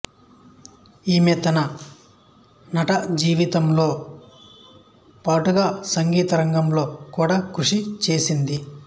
ఈమె తన నటజీవితంతో పాటుగా సంగీతరంగంలో కూడా కృషి చేసింది